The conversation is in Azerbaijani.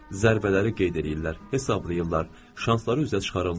Zərbələri qeyd eləyirlər, hesablayırlar, şansları üzə çıxardırlar.